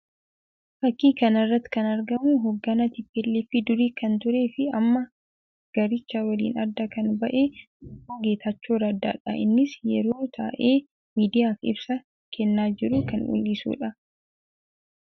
Fakkii kana irratti kan argamu hogganaa TPLF durii kan ture fi amma garicha waliin adda kan ba'e obbo Geetachoo Raddaa dha. Innis yeroo taa'ee miidiyaaf ibsaa kennaa jiru kan mul'isuu dha.